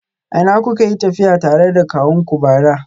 A ina kuka yi tafiya tare da kawunku bara?